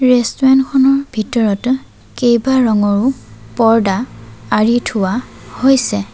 Restaurant খনৰ ভিতৰত কেবাৰঙৰো পৰ্দা আঁড়ি থোৱা হৈছে।